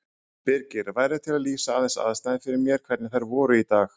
Birgir, værirðu til í að lýsa aðeins aðstæðum fyrir mér, hvernig þær voru í dag?